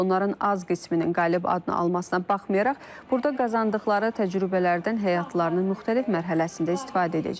Onların az qisminin qalib adını almasına baxmayaraq, burada qazandıqları təcrübələrdən həyatlarının müxtəlif mərhələsində istifadə edəcəklər.